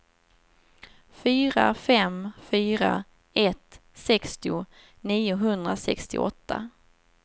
fyra fem fyra ett sextio niohundrasextioåtta